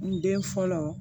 N den fɔlɔ